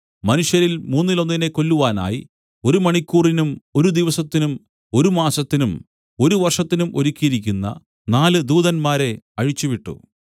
മനുഷ്യരിൽ മൂന്നിലൊന്നിനെ കൊല്ലുവാനായി ഒരു മണിക്കൂറിനും ഒരു ദിവസത്തിനും ഒരു മാസത്തിനും ഒരു വർഷത്തിനും ഒരുക്കിയിരുന്ന നാല് ദൂതന്മാരെ അഴിച്ചുവിട്ടു